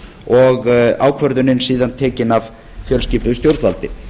og ákvörðunin síðan tekin af fjölskipuðu stjórnvaldi